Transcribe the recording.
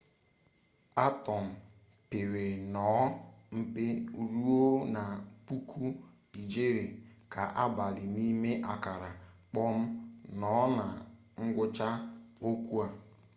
atọm pere nnọọ mpe ruo na puku ijeri ga-abali n'ime akara kpọm nọ na ngwụcha okwu a